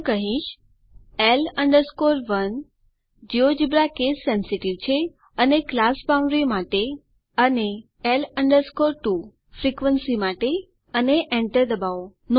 હું કહીશ L 1 GeoGebra case sensitive છે અને ક્લાસ બાઉન્ડરીઝ માટે અને L 2 ફ્રિકવન્સી માટે અને Enter દબાવો